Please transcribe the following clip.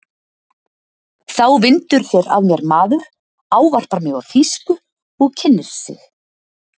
Þá vindur sér að mér maður, ávarpar mig á þýsku og kynnir sig.